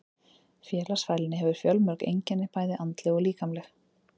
Félagsfælni hefur fjölmörg einkenni, bæði andleg og líkamleg.